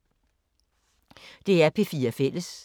DR P4 Fælles